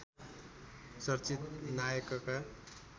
चर्चित नायकका